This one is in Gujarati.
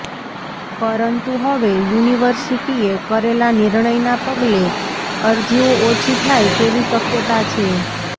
પરંતુ હવે યુનિવર્સિટીએ કરેલા નિર્ણયના પગલે અરજીઓ ઓછી થાય તેવી શક્યતા છે